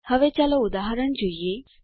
હવે ચાલો ઉદાહરણ જોઈએ